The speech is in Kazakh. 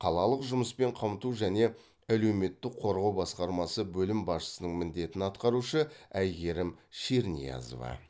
қалалық жұмыспен қамту жане әлеуметтік қорғау басқармасы бөлім басшысының міндетін атқарушы әйгерім шерниязова